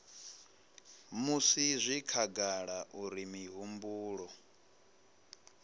musi zwi khagala uri mihumbulo